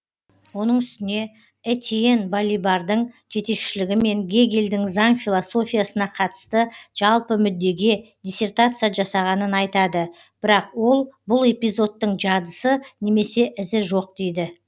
оның үстіне этьен балибардың жетекшілігімен гегельдің заң философиясына қатысты жалпы мүддеге диссертация жасағанын айтады бірақ ол бұл эпизодтың жадысы немесе ізі жоқ дейді